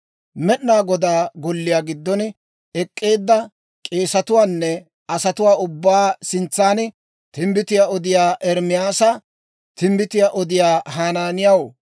Med'inaa Godaa Golliyaa giddon ek'k'eedda k'eesetuwaanne asatuwaa ubbatuwaa sintsan timbbitiyaa odiyaa Ermaasi timbbitiyaa odiyaa Hanaaniyaw